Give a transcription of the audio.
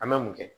An bɛ mun kɛ